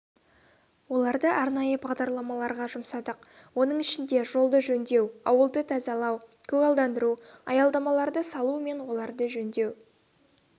оларды арнайы бағдарламаларға жұмсадық оның ішінде жолды жөндеу ауылды тазалау көгалдандыру аялдамаларды салу мен оларды жөндеу